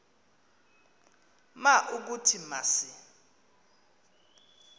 ma ukuthi masi